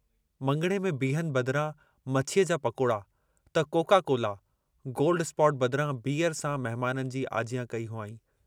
मङणे में बीहनि बदिरां मछीअ जा पकोड़ा त कोका कोला, गोल्ड-स्पॉट बदिरां बीयर सां मेहमाननि जी आजियां कई हुआईं।